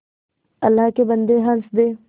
अल्लाह के बन्दे हंस दे